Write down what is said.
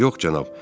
Yox cənab.